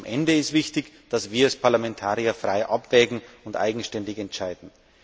Am Ende ist wichtig, dass wir als Parlamentarier frei abwägen und eigenständig entscheiden.